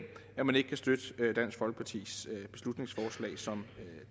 at man ikke kan støtte dansk folkepartis beslutningsforslag som